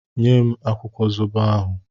Nye m akwụkwọ zobo ahụ!